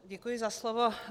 Děkuji za slovo.